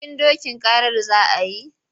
Bikin dokin karar za a yi?